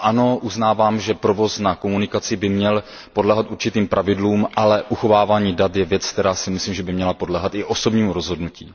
Ano, uznávám, že provoz na komunikaci by měl podléhat určitým pravidlům, ale uchovávání dat je věc, o které si myslím, že by měla podléhat i osobnímu rozhodnutí.